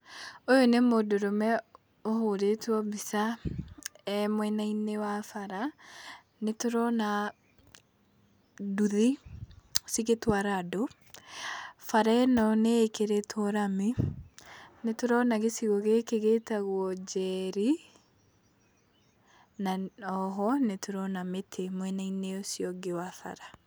Ũyũ nĩ mũndũrũme ũhũrĩtwo mbica e mwena-inĩ wa bara, nĩ tũrona nduthi cigĩtwara andũ. Bara ĩno nĩ ĩkĩrĩtwo rami, nĩ tũrona gĩcigo gĩkĩ gĩtagwo Njeri, na o ho nĩ tũrona mĩtĩ mwena-inĩ ũcio ũngĩ wa bara.